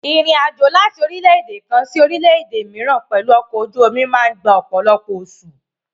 Ìrìn àjò láti orílẹ́-èdè kan sí orílẹ́-èdè mìíràn pẹ̀lú ọkọ̀ ojú omi máa gba ọ̀pọ̀lọpọ̀ oṣù.